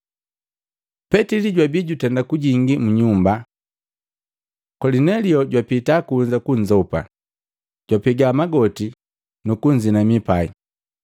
Petili pajwabi jutenda kujingi mu nyumba, Kolinelio jwapita kunza kunzopa, jwapega magoti nukunzinami pai.